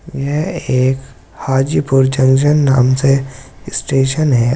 यह एक हाज़ीपुर जंक्शन नाम से स्टेशन है।